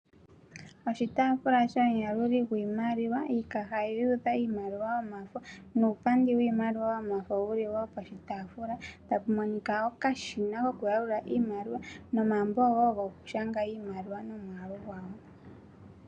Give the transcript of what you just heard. Oshitaafula shomuyaluli gwiimaliwa, iikaha yuudha iimaliwa yomafo, nuupandi wiimaliwa yomafo wu li wo poshitaafula. Okashina kokuyalula iimaliwa, nomambo wo gokushanga iimaliwa nomwaalu gwayo.